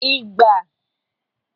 ịgba